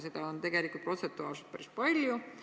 Seda on tegelikult protsentuaalselt päris palju.